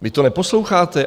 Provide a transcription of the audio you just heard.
Vy to neposloucháte?